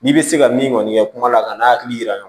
N'i bɛ se ka min kɔni kɛ kuma la ka n'a hakili yira ɲɔgɔn na